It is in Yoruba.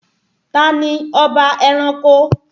Tani ọba ẹranko?